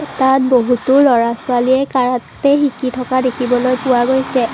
তাত বহুতো ল'ৰা ছোৱালীয়ে কাৰাটে শিকি থকা দেখিবলৈ পোৱা গৈছে।